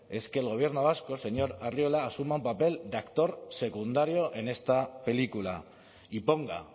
es que el gobierno vasco señor arriola asuma un papel de actor secundario en esta película y ponga